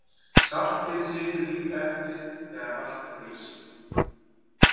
Saltið situr líka eftir þegar vatn frýs.